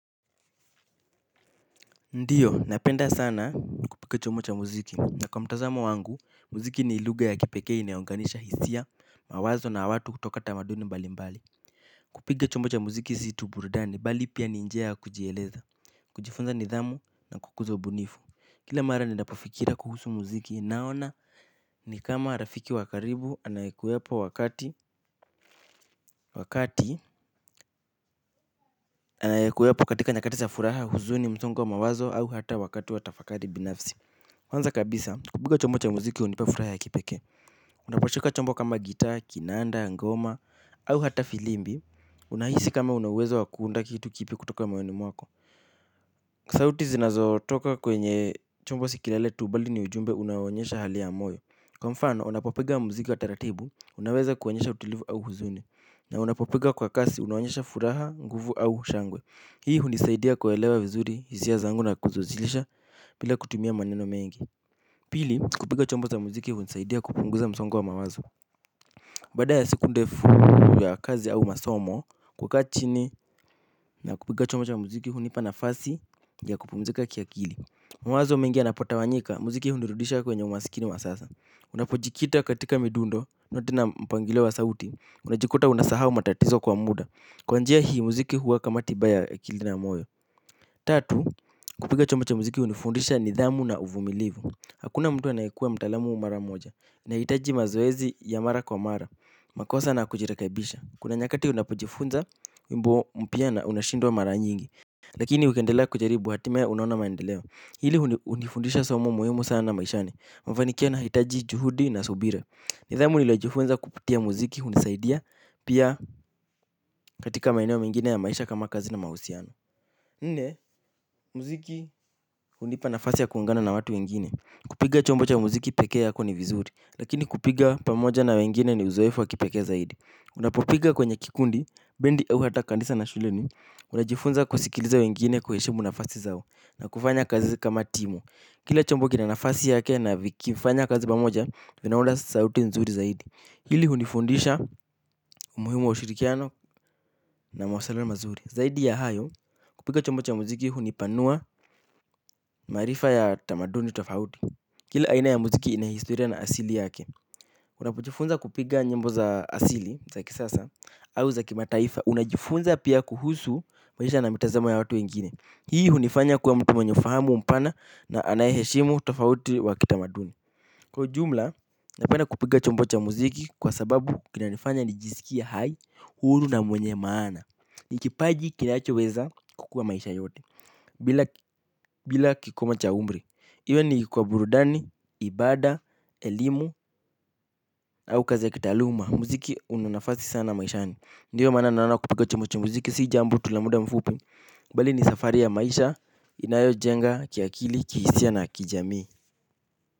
Ndio, napenda sana kupiga chombo cha muziki. Na kwa mtazamo wangu, muziki ni lugha ya kipekee ineyounganisha hisia, mawazo na watu kutoka tamaduni mbali mbali. Kupiga chumbo cha muziki si tu burudani, bali pia ni njia kujieleza. Kujifunza nidhamu na kukuza ubunifu. Kila mara ninapofikira kuhusu muziki, naona ni kama rafiki wa karibu anayekuwepo katika nyakati za furaha huzuni msongo wa mawazo au hata wakati wa tafakari binafsi. Kwanza kabisa, kupiga chombo cha muziki hunipa furaha ya kipekee. Unapashuka chombo kama gitaa, kinanda, ngoma, au hata filimbi. Unahisi kama una uwezo wa kuunda kitu kipya kutoka moyoni mwako sauti zinazotoka kwenye chombo si kelele tu bali ni ujumbe unayo onyesha hali ya moyo kwa mfano, unapopiga muziki wa taratibu, unaweza kuonyesha utulivu au huzuni na unapopiga kwa kasi, unaonyesha furaha, nguvu au shangwe. Hii hunisaidia kuelewa vizuri, hisia zangu na kuziwasilisha, bila kutumia maneno mengi. Pili, kupiga chombo cha muziki hunisaidia kupunguza msongo wa mawazo. Baada ya siku ndefu ya kazi au masomo, kukaa chini na kupiga chombo cha muziki hunipa nafasi ya kupumzika kiakili. Mawazo mingi yanapotawanyika, muziki hunirudisha kwenye umasikini wa sasa. Unapojikita katika midundo, noti na mpangilio wa sauti, unajikuta unasahau matatizo kwa muda kwa njia hii muziki huwa kama tiba ya akili na moyo. Tatu, kupiga chombo cha muziki hunifundisha nidhamu na uvumilivu. Hakuna mtu anayekuwa mtaalamu mara moja, unahitaji mazoezi ya mara kwa mara, makosa na kujirekebisha. Kuna nyakati unapojifunza, wimbo mpya na unashindwa mara nyingi. Lakini ukiendelea kujaribu hatimaye unaona maendeleo. Hili hunifundisha somo muhimu sana maishani, mafaniki yanahitaji juhudi na subira. Nidhamu niliyojifunza kupitia muziki hunisaidia, pia katika maeneo mengine ya maisha kama kazi na mahusiano. Nne, muziki hunipa nafasi ya kuungana na watu wengine. Kupiga chombo cha muziki peke yako ni vizuri lakini kupiga pamoja na wengine ni uzoefu wa kipekee zaidi. Unapopiga kwenye kikundi, bendi au hata kanisa na shuleni. Unajifunza kusikiliza wengine kuheshimu nafasi zao na kufanya kazi kama timu. Kila chombo kina nafasi yake na vikifanya kazi pamoja. Vinaunda sauti nzuri zaidi. Hili hunifundisha umuhimu wa ushurikiano na mawasiliano mazuri. Zaidi ya hayo, kupiga chombo cha muziki hunipanua. Maarifa ya tamaduni tofauti. Kile aina ya muziki ina historia na asili yake. Unapojifunza kupiga nyimbo za asili za kisasa au za kimataifa. Unajifunza pia kuhusu. Maisha na mitazamo ya watu wengine. Hii hunifanya kuwa mtu mwenye ufahamu mpana na anayeheshimu tofauti wa kitamaduni. Kwa ujumla. Napenda kupiga chombo cha muziki kwa sababu kinanifanya nijisikie hai. Huru na mwenye maana. Ni kipaji kinachoweza kukuwa maisha yote. Bila kikomo cha umri. Iwe ni kwa burudani, ibada, elimu au kazi ya kitaaluma. Muziki una nafasi sana maishani. Ndiyo maana naona kupiga chombo cha muziki si jambo tu la muda mfupi bali ni safari ya maisha inayojenga kiakili, kihisia na kijamii.